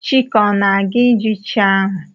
Chike ọ naga-ijụ chi ahụ?